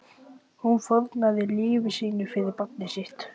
Hún fórnaði lífi sínu fyrir barnið sitt.